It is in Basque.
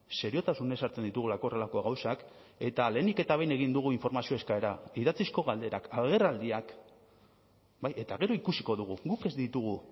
seriotasunez hartzen ditugulako horrelako gauzak eta lehenik eta behin egin dugu informazio eskaera idatzizko galderak agerraldiak bai eta gero ikusiko dugu guk ez ditugu